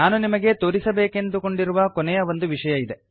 ನಾನು ನಿಮಗೆ ತೋರಿಸಬೇಕೆಂದುಕೊಂಡಿರುವ ಕೊನೆಯ ಒಂದು ವಿಷಯ ಇದೆ